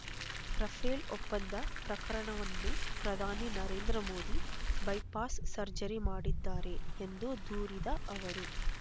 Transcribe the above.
Rafale ಒಪ್ಪಂದ ಪ್ರಕರಣವನ್ನು ಪ್ರಧಾನಿ ನರೇಂದ್ರ ಮೋದಿ ಬೈಪಾಸ್ ಸರ್ಜರಿ ಮಾಡಿದ್ದಾರೆ ಎಂದು ದೂರಿದ ಅವರು